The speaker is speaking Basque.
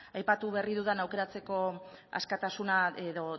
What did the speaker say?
aipatu berri dudan aukeratzeko askatasuna edo